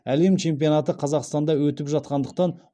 әлем чемпионаты қазақстанда өтіп жатқандықтан